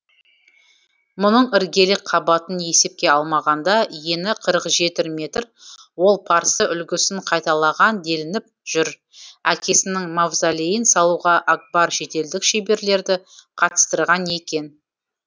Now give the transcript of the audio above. мұның іргелік қабатын есепке алмағанда ені қырық жеті метр ол парсы үлгісін қайталаған делініп жүр әкесінің мавзолейін салуға акбар шетелдік шеберлерді қатыстырған екен